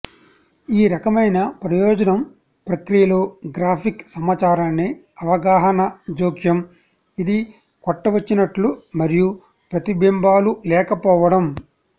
ఈ రకమైన ప్రయోజనం ప్రక్రియలో గ్రాఫిక్ సమాచారాన్ని అవగాహన జోక్యం ఇది కొట్టవచ్చినట్లు మరియు ప్రతిబింబాలు లేకపోవడం